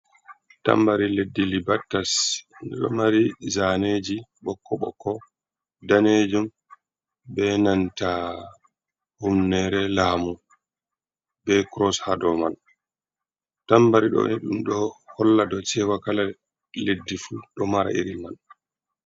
Tambari leddi libattas do mari zaneji ɓokko-ɓokko ɗanejum bé nanta humnere lamu ɓe kuros haɗou man. Tambari ɗo ni ɗum ɗo holla ɗou cewa kala leddi fu ɗo mara iri man.